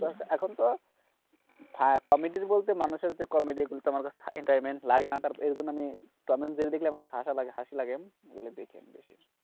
এখনতো কমিডির বলতে মানুষের যে কমিডি গুলো entertainment লাগেনা, এইজন্য টম এণ্ড জেরি দেখলে আমার হাসি লাগে, সেজন্য দেখি বেশি,